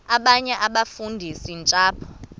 abanye abafundisi ntshapo